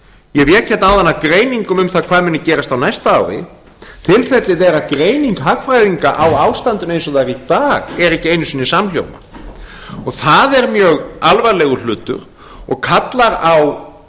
ég vék áðan að greiningum um það hvað muni gerast á næsta ári til þess að vera greining hagfræðinga á ástandinu eins og það er í dag er ekki einu sinni samhljóma og það er mjög alvarlegur hlutur og